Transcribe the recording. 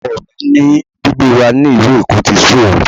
Ọkọ mi ní gbígbé wa ní ìlú Èkó ti sú òun